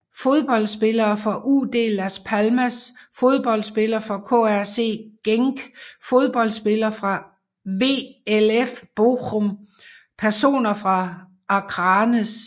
Fodboldspillere fra UD Las Palmas Fodboldspillere fra KRC Genk Fodboldspillere fra VfL Bochum Personer fra Akranes